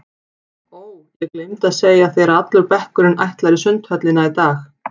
Ó, ég gleymdi að segja þér að allur bekkurinn ætlar í Sundhöllina í dag